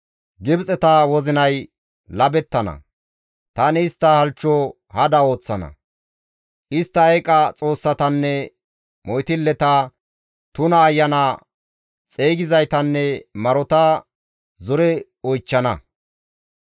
Gibxeta wozinay labettana; tani istta halchcho hada ooththana. Istta eeqa xoossatanne moytilleta, tuna ayana xeygizaytanne marota zore oychchana.